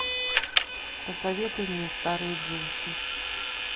посоветуй мне старые джинсы